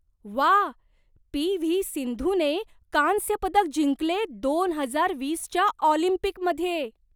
वाह, P. V. सिंधूने कांस्यपदक जिंकले दोन हजार वीसच्या ऑलिम्पिकमध्ये.